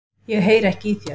Ég heyri ekki í þér.